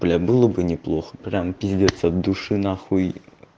блядь было бы неплохо прям пиздец от души на хуй